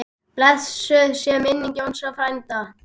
Blessuð sé minning Jónsa frænda.